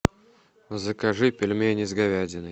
закажи пельмени с говядиной